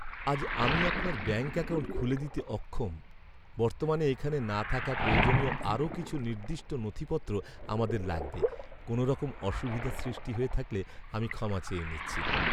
আজ আমি আপনার ব্যাঙ্ক অ্যাকাউন্ট খুলে দিতে অক্ষম। বর্তমানে এখানে না থাকা প্রয়োজনীয় আরও কিছু নির্দিষ্ট নথিপত্র আমাদের লাগবে। কোনওরকম অসুবিধা সৃষ্টি হয়ে থাকলে আমি ক্ষমা চেয়ে নিচ্ছি।